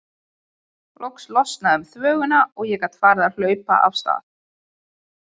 Loks losnaði um þvöguna og ég gat farið að hlaupa af stað.